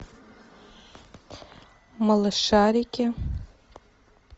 малышарики